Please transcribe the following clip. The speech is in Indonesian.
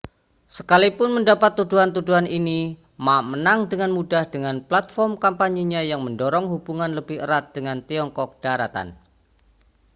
sekalipun mendapat tuduhan-tuduhan ini ma menang dengan mudah dengan platform kampanye yang mendorong hubungan lebih erat dengan tiongkok daratan